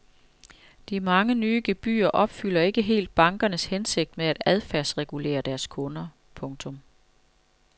De mange nye gebyrer opfylder ikke helt bankernes hensigt om at adfærdsregulere deres kunder. punktum